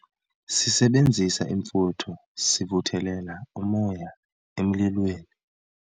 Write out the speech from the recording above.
sisebenzisa imfutho sivuthelela umoya emlilweni